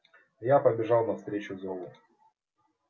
я побежал навстречу зову